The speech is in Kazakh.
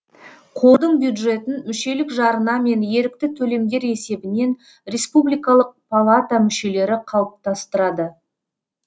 қордың бюджетін мүшелік жарна мен ерікті төлемдер есебінен республикалық палата мүшелері қалыптастырады